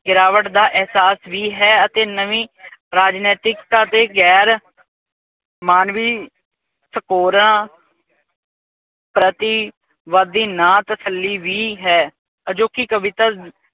ਗਿਰਾਵਟ ਦਾ ਅਹਿਸਾਸ ਵੀ ਹੈ ਅਤੇ ਨਵੀ ਰਾਜਨੈਤਿਕਤਾ ਤੇ ਗੈਰ ਮਾਨਵੀ ਸਕੋਰਾਂ ਪ੍ਰਤੀ ਵਧਦੀ ਨਾ ਤਸੱਲੀ ਵੀ ਹੈ ਜੋ ਕੀ ਕਵਿਤਾ